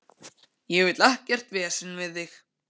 Ég vil ekkert vesen við þig.